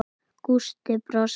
Gústi brosti.